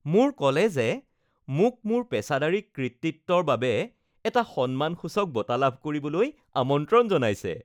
মোৰ কলেজে মোক মোৰ পেছাদাৰী কৃতিত্বৰ বাবে এটা সন্মানসূচক বঁটা লাভ কৰিবলৈ আমন্ত্ৰণ জনাইছে